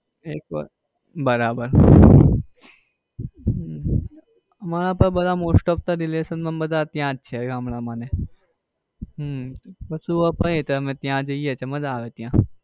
એક વાર બરાબર મારે તો most off તો relation માં ત્યાં જ છે ગામડા માં ને એ હમ કશું ન ત્યાં જઈએ એટલે માજા આવે ત્યાં.